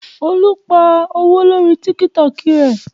Olú pa owó lórí Tiktok rẹ.